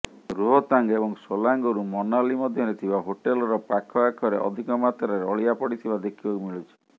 ରୋହତାଙ୍ଗ ଏବଂ ସୋଲାଙ୍ଗରୁ ମନାଲି ମଧ୍ୟରେ ଥିବା ହୋଟେଲର ପାଖଆଖରେ ଅଧିକ ମାତ୍ରାରେ ଅଳିଆ ପଡିଥିବା ଦେଖିବାକୁ ମିଳୁଛି